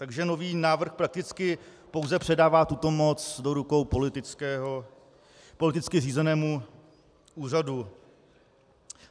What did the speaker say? Takže nový návrh prakticky pouze předává tuto moc do rukou politicky řízenému úřadu.